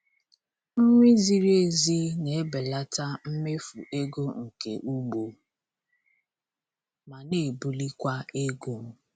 Nri ziri ezi na-ebelata mmefu ego nke ugbo ma na-ebulikwa ego.